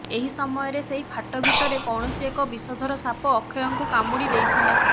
ଏହି ସମୟରେ ସେହି ଫାଟ ଭିତରେ କୌଣସି ଏକ ବିଷଧର ସାପ ଅକ୍ଷୟକୁ କାମୁଡ଼ି ଦେଇଥିଲା